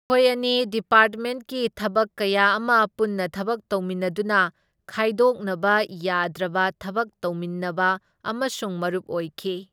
ꯃꯈꯣꯏ ꯑꯅꯤ ꯗꯤꯄꯥꯔꯠꯃꯦꯟꯠꯀꯤ ꯊꯕꯛ ꯀꯌꯥ ꯑꯃ ꯄꯨꯟꯅ ꯊꯕꯛ ꯇꯧꯃꯤꯟꯅꯗꯨꯅ ꯈꯥꯏꯗꯣꯛꯅꯕ ꯌꯥꯗ꯭ꯔꯕ ꯊꯕꯛ ꯇꯧꯃꯤꯟꯅꯕ ꯑꯃꯁꯨꯡ ꯃꯔꯨꯞ ꯑꯣꯏꯈꯤ꯫